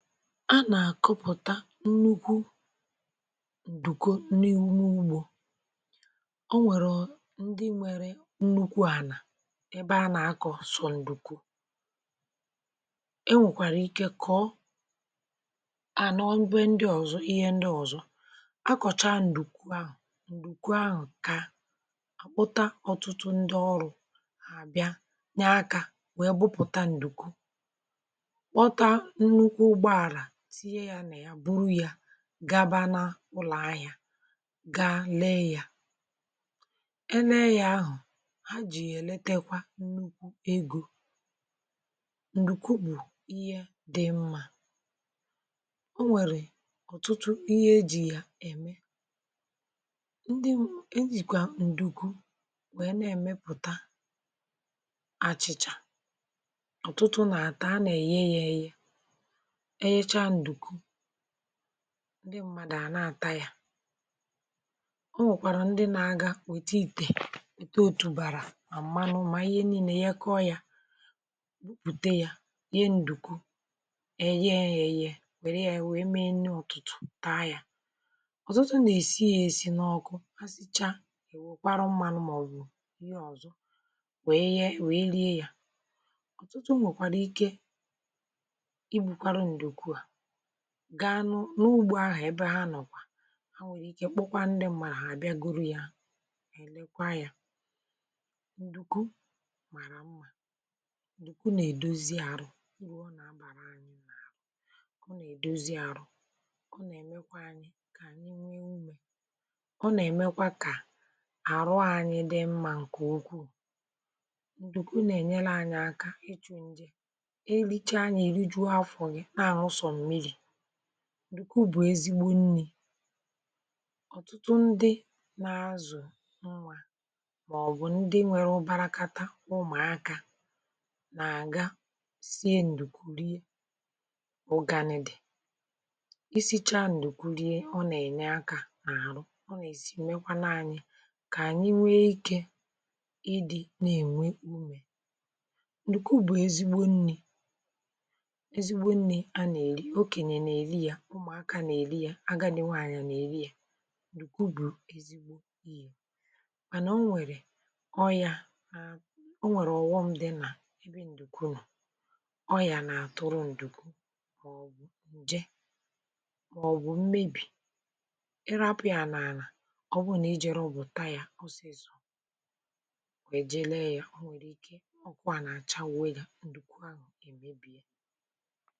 Anà-àkọpụ̀ta n’ǹnukwu ǹdùku n’ihúmé ugbọ̀. Ọ nwèrè ndị nwèrè nnukwu ànà, ebe a nà-akọ̀sọ ǹdùku. Enwèkwàrà ike kọ̀ọ à n’ọbụ̀e ndị ọzọ, ihe ndị ọzọ akọ̀cha ǹdùku ahụ̀. Ǹdùku ahụ̀ kà àpụ̀tà ọtụtụ ndị ọrụ̀, àbịa nye akà, wèe bụpụ̀ta ǹdùku, gaba n’ụlọ̀ ahịa, gaa lee ya. um E naghị̀ ahụ̀ ha jì; èletèkwà nnukwu ego. Ǹdùku bụ̀ ihe dị mma. Ọ nwèrè ọ̀tụtụ ihe ejì ya ème. Ndị ejìkwà ǹdùku wèe na-èmepụ̀ta àchị̄chà ọ̀tụtụ nà àtà, a nà-èye ya, ėyė, ndị mmadụ à na-ata ya. Ọ nwèkwàrà ndị na-aga, wèta ìtè, wèta òtùbàrà, mà mmanụ, mà ihe niile yakọọ ya, mpùte ya, ihe. um Ǹdùku, ẹ̀ẹ̀ẹ, ẹ̀yẹ, wère ya wèe mee nne ụ̀tụ̀tụ̀, taa ya. Ọ̀tụtụ nà-èsi ya, èsi n’ọkụ, ha sìchaa, wèkwàrà mmanụ, màọ̀bụ̀ ihe ọ̀zọ, wèe yè, wèe rie ya. Ọ̀tụtụ nwèkwàrà ike, gà-ànu n’ugbò ahụ̀, ebe ha nọ̀kwa. Ha nwèrè ike kpokwa ndị m̀màrà àbịagoro ya, èlekwa ya. Ǹdùku màrà mma; ǹdùku nà-èdozi àrụ̀ ruo, nà-abàrà anyị nà, ọ nà-èdozi àrụ̀; ọ nà-èmekwa anyị kà nye ùmé; ọ nà-èmekwa kà àrụ̀ anyị dị mma. ǹké ukwuù, ǹdùku nà-ènyere anyị aka ijụ̀ njè, e lichaa, anyị rùjụ afọ. um Ya bụ̀, ǹdùku bụ̀ ezigbo nnì. Ọ̀tụtụ ndị na-azụ nwa, màọbụ̀ ndị nwere ụ̀bàrakata ụmụ̀aka, nà-àga sie ǹdùku rie. Ụ̀ganìdé, isichaa ǹdùku rie, ọ nà-ènye akà n’àrụ̀. Ọ nà-èzi, mèkwà na anyị kà ànyị mee iké, ndị nà-ènwe ùmé. Ǹdùku bụ̀ ezigbo nnì: ụmụ̀aka nà-èri ya, agàdì nwanyị̄ nà-èri ya. Ǹdùku bụ̀ ezigbo ihe. Mànà, ọ nwèrè ọ̀ghọm̀. um Dị nà ebe ǹdùku nọ̀, ọyà nà-àtụrụ ǹdùku; màọ̀bụ̀ ǹje; màọ̀bụ̀ mmebì. Ì rapụ̀ ya n’àlà, ọ bụrụ nà i jere, ò bụ̀tà ya, ọ sị̀ ísù kà èje. Lee ya, o nwèrè iké, ọkụ̄ kà nà-àchàwu ya. Ǹdùku à nọ̀, èmebì ya.